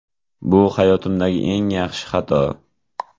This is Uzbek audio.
Bu hayotimdagi eng yaxshi xato!